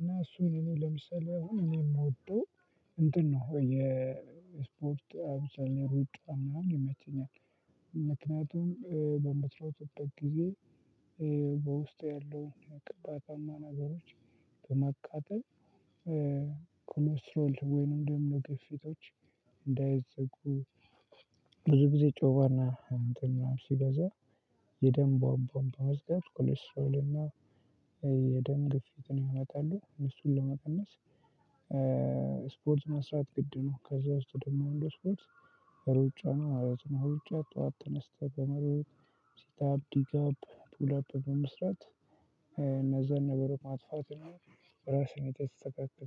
እና እሱን ለምሳሌ እኔ የምደው እንትን ነው የስፖርት አብዛኛው ሩጫ ምናምን ይመቸኛል። ምክንያቱም በምትሮጥበት ጊዜ በውስጤ ያለውን ቅባታማ ነገሮች በማቃጠል ኮሌስትል ወይም ደግሞ ግፊቶች እንዳይዘጉ። ብዙ ጊዜ ጮማና እንትን ምናምን ሲበዛ የደም ቧምቧ በመዝጋት ኮሌስትሮል እና የደም ግፊትን ያመጣሉ። እነሱን ለመቀነስ ስፖርት መስራት ግድ ነው። ከዛ ውስጥ ደግሞ አንዱ ስፓርት ሩጫ ነው ማለት ነው። ሩጫ ጠዋት ተነስተን በመሮጥ ሴታፕ ዲጋፕ ፑላፕ በመስራት እነዛን ነገሮች ማጥፋት የሚሆን። ራስህን የተስተካከለ